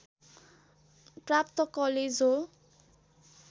प्राप्त कलेज हो